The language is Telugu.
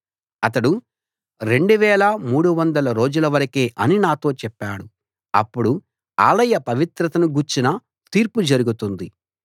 అతడు 2 300 రోజుల వరకే అని నాతో చెప్పాడు అప్పుడు ఆలయ పవిత్రతను గూర్చిన తీర్పు జరుగుతుంది